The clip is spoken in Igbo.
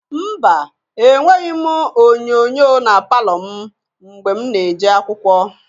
Mba! Enweghi m onyoonyoo na palọ m mgbe m na-eje akwụkwọ.